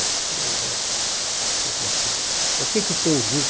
Ele falou assim, mas o que que tem vinte